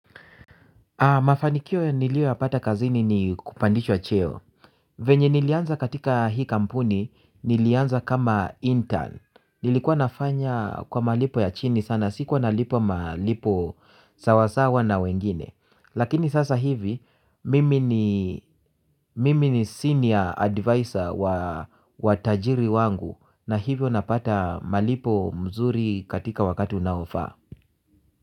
Mafanikio nilioyapata kazini ni kupandishwa cheo. Venye nilianza katika hii kampuni nilianza kama intern. Nilikuwa nafanya kwa malipo ya chini sana sikuwa nalipwa malipo sawasawa na wengine. Lakini sasa hivi mimi ni mimi ni senior advisor wa tajiri wangu na hivyo napata malipo mzuri katika wakati unaofaa.